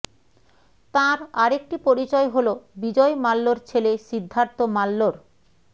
তাঁর আরেকটি পরিচয় হল বিজয় মাল্যর ছেলে সিদ্ধার্থ মাল্যর